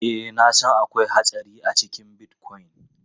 Ee, na san akwai hatsari a cikin Bitcoin.